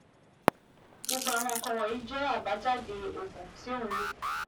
Gbogbo àwọn nǹkan wọ̀nyí jẹ́ àbájáde oògùn tí o ń lò